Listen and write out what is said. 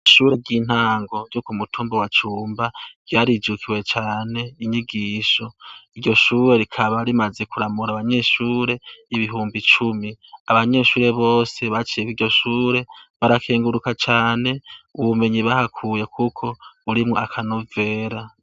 Ishure ry'intango ryo ku mutumba wa cumba ryarijukiwe cane inyigisho iryo shure rikaba rimaze kuramura abanyeshure ibihumbi cumi abanyeshure bose baciyewiryo shure barakenguruka cane ubumenyi bahakuye, kuko urimwo akanovera.